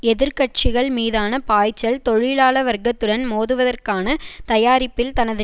எதிர் கட்சிகள் மீதான பாய்ச்சல் தொழிலாள வர்க்கத்துடன் மோதுவதற்கான தயாரிப்பில் தனது